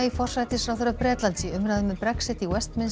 forsætisráðherra Bretlands í umræðum um Brexit í